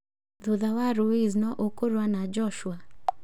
thutha wa Ruiz nũ ũkũrũa na Joshua?